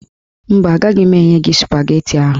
Mba, agaghị m enye gị spageti ahụ